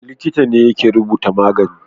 Likita ne yake rubuta magani